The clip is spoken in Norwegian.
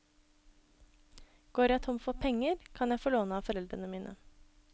Går jeg tom for penger, kan jeg få låne av foreldrene mine.